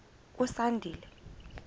usandile